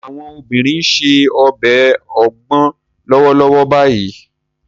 Àwọn obìnrin ń se ọbẹ̀ ogbon lọ́wọ́lọ́wọ́ báyìí